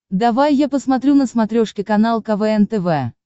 давай я посмотрю на смотрешке канал квн тв